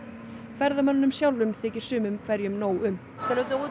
ferðamönnunum sjálfum þykir sumum hverjum nóg um